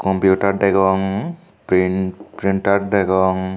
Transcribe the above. kompiutar degong prin printar degong.